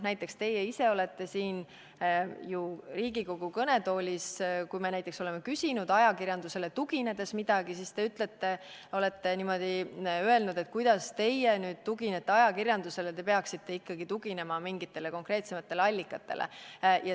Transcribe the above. Näiteks, teie ise olete siin Riigikogu kõnetoolis, kui me näiteks oleme küsinud ajakirjandusele tuginedes midagi, niimoodi öelnud, et kuidas teie nüüd tuginete ajakirjandusele, te peaksite ikkagi tuginema mingitele konkreetsematele allikatele.